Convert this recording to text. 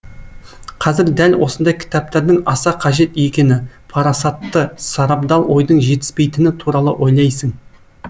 қазір дәл осындай кітаптардың аса қажет екені парасатты сарабдал ойдың жетіспейтіні туралы ойлайсың